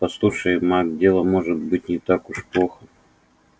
послушай майк дело может быть не так уж плохо